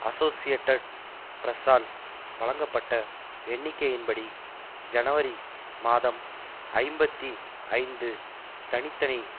associated பிரஸ்ஸால் வழங்கப்பட்ட எண்ணிக்கையின்படி ஜனவரி மாதம் ஐம்பத்தி ஐந்து தனி தனி